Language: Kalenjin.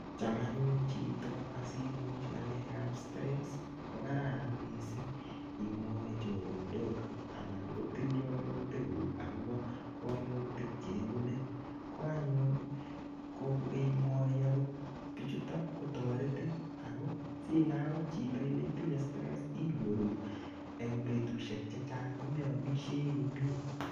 Cham anyun chito asiimuch ng'alekbap stress ko kararan missing' imwachi choronok anan ko tilianutikuk akopa kaimutik che ipune. Ko anyun imwachi agot pichutok ko taretin ako si inai akot chito kole itinye stress inyoru eng' petushek che chang' ko me amishei komye.